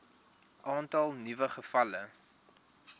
aantal nuwe gevalle